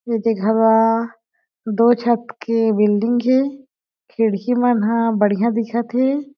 एदे घवा दो छत के बिल्डिंग हे खिड़की मन ह बढ़िया दिखत हे।